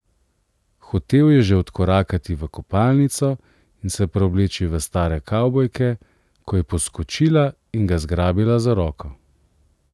Hotel je že odkorakati v kopalnico in se preobleči v stare kavbojke, ko je poskočila in ga zgrabila za roko.